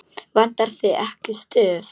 Vantar þig ekki stuð?